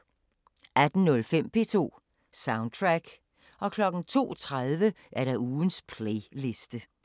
18:05: P2 Soundtrack 02:30: Ugens playliste